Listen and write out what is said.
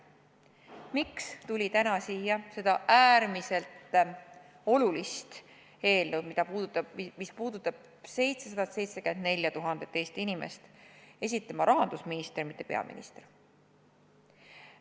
Miks tuli täna siia seda äärmiselt olulist eelnõu, mis puudutab 774 000 Eesti inimest, esitama rahandusminister, mitte peaminister?